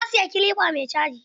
Na siyi kilifa mai caji.